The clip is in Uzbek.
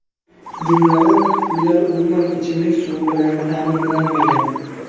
Jumladan, uylar umuman ichimlik suvi bilan ta’minlanmagan.